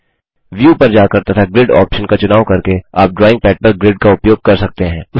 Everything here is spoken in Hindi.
व्यू पर जाकर तथा ग्रिड ऑप्शन का चुनाव करके आप ड्रॉइंग पैड पर ग्रिड का उपयोग कर सकते हैं